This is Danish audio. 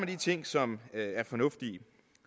de ting som er fornuftige